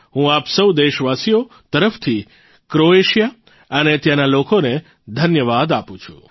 હું આપ સૌ દેશવાસીઓ તરફથી ક્રોએશિયા અને ત્યાંના લોકોને ધન્યવાદ આપું છું